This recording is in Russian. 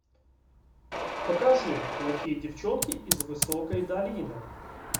покажи плохие девчонки из высокой долины